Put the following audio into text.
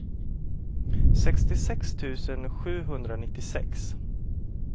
sextiosex tusen sjuhundranittiosex